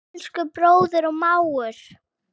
Elsku bróðir og mágur.